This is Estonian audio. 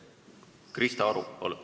Krista Aru, palun!